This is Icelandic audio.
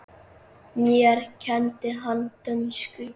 Mér kenndi hann dönsku.